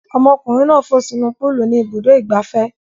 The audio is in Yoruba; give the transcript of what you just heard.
Ọmọkùnrin náà fò sínú púúlù ní Ibùdó-ìgbafẹ́.